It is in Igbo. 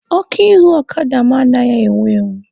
Ọkụ ihu ọkada mụ anaghị enwu enwu.